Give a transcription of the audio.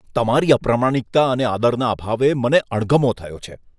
તમારી અપ્રમાણિકતા અને આદરના અભાવે મને અણગમો થયો છે.